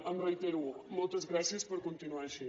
ho reitero moltes gràcies per continuar així